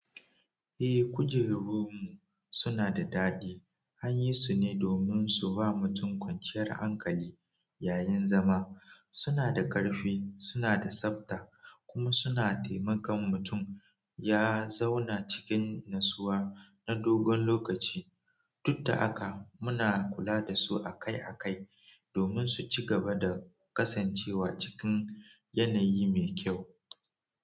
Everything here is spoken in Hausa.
Eh, kujerun mu suna da daɗi, anyi su ne domin su ba mutum kwanciyar hankali yayin zama. Suna da karfi, suna da tsafta kuma suna taimakon mutum ya zauna cikin natsuwa na dogon lokaci. Duk da haka, muna kula da su akai-akai domin su ci gaba da kasancewa cikin yanayi mai kyau.